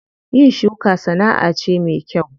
Yin shuka sana'a ce me kyau.